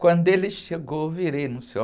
Quando ele chegou, eu virei no